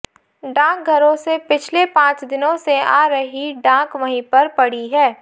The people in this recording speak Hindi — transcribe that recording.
डाकघरों में पिछले पांच दिनों से आ रही डाक वहीं पर पड़ी है